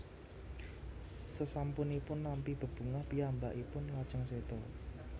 Sesampunipun nampi bebungah piyambakipun lajeng séda